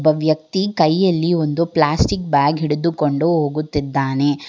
ವ್ಯಕ್ತಿ ಕೈಯಲ್ಲಿ ಒಂದು ಪ್ಲಾಸ್ಟಿಕ್ ಬ್ಯಾಗ್ ಹಿಡಿದು ಕೊಂಡು ಹೋಗುತ್ತಿದ್ದಾನೆ.